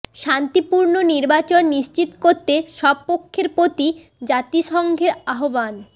শান্তিপূর্ণ নির্বাচন নিশ্চিত করতে সব পক্ষের প্রতি জাতিসংঘের আহ্বান